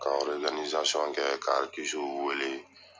Ka kɛ ka arikisiw wele ye.